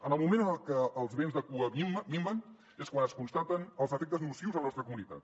en el moment en el que els vents de cua minven és quan es constaten els efectes nocius en la nostra comunitat